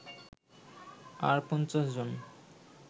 আর ৫০ জন